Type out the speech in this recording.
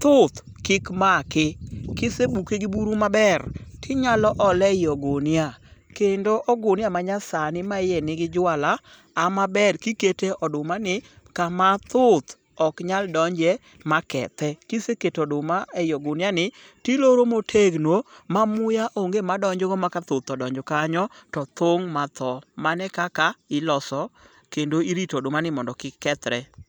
thuth kik make. Kisebuke gi buru maber tinyalo ole e i ogunia kendo ogunia manyasani ma iye nigi juala haw maber kikete odumani kama thuth ok nyal donje ma kethe. Kiseketo oduma e i oguniani tiloro motegno ma muya onge madonjogo ma ka thuth odonjo kanyo to thung' matho. Mano ekaka iloso kendo irito odumani mondo kik kethre.